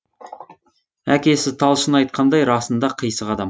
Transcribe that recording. әкесі талшын айтқандай расында қисық адам